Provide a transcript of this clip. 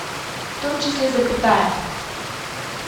в том числе запятая